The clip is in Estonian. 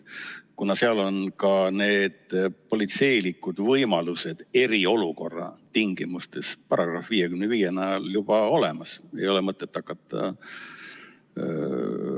Kuna seal on ka need politseilised võimalused eriolukorra tingimustes § 55 näol juba olemas, siis ei ole mõtet hakata ...